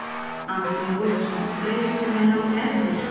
Andri Ólafsson: Greiðslum er haldið eftir?